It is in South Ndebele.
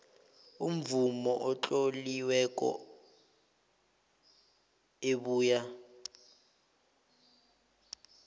imvumo etloliweko ebuya